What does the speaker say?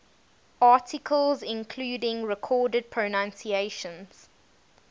articles including recorded pronunciations